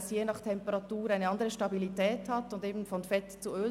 Je nach Temperatur hat es eine andere Stabilität und wird von Fett zu Öl.